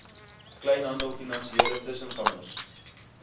kleinhandel finansiële tussengangers